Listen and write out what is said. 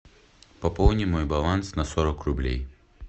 пополни мой баланс на сорок рублей